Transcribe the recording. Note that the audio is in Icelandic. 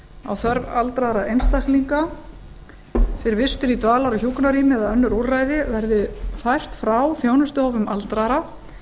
á þörf aldraðra einstaklinga fyrir vistun í dvalar og hjúkrunarrými eða önnur úrræði verði fært frá þjónustuhópum aldraðra